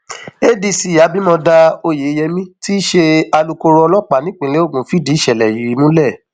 adc abimodá oyeyèmí tí í ṣe alukkoro ọlọpàá nípìnlẹ ogun fìdí ìṣẹlẹ yìí múlẹ